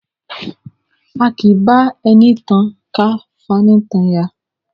A kì í bá ẹni tan ká tún fani nítan ya.